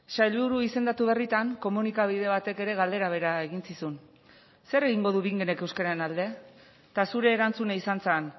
sailburu izendatu berritan komunikabide batek ere galdera bera egin zizun zer egingo du bingenek euskararen alde eta zure erantzuna izan zen